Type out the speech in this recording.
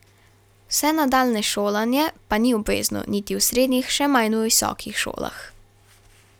Vse nadaljnje šolanje pa ni obvezno, niti v srednjih, še manj visokih šolah.